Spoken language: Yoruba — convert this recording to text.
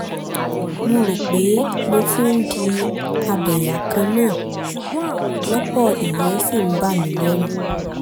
mo rò pé mo ti ń di abẹ́yà-kan-náà-lòpọ̀ ìyẹn sì ń bà mí lẹ́rù